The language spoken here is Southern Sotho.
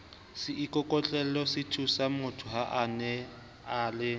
seikokotlelosethusangmotho ha a na le